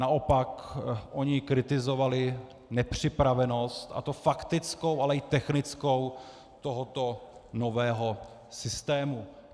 Naopak oni kritizovali nepřipravenost, a to faktickou, ale i technickou, tohoto nového systému.